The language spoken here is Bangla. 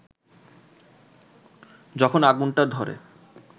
যখন আগুনটা ধরে